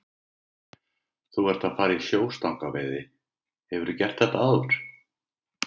Guðný: Þú ert að fara í sjóstangaveiði, hefurðu gert þetta áður?